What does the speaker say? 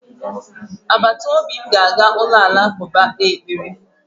Agbataobi m ga-aga ụlọ alakụba kpee ekpere